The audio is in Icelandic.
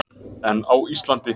En á Íslandi?